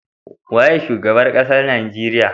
Waye shugaban ƙasar nigeria?